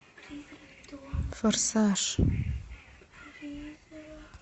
форсаж